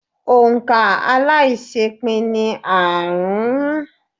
Òǹ̀kà aláiṣẹépín ni aárùn-ún.